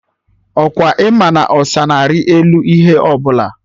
Ọkwa ịma na ọsa na-ari elu ihe ọbụla?